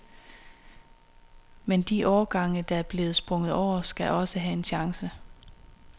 Men de årgange, der er blevet sprunget over, skal også have en chance.